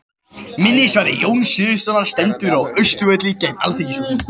Minnisvarði Jóns Sigurðssonar stendur á Austurvelli, gegnt Alþingishúsinu.